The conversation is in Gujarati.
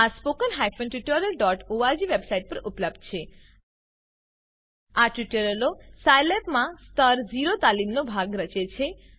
આ spoken tutorialઓર્ગ વેબસાઈટ પર ઉપલબ્ધ છે આ ટ્યુટોરીયલો સાયલેબમાં સ્તર ૦ તાલીમનો ભાગ રચે છે